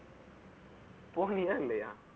போகலையா இல்லையா